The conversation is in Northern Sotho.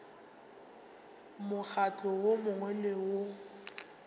mokgatlo wo mongwe le wo